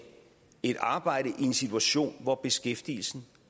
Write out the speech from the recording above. et arbejde i en situation hvor beskæftigelsen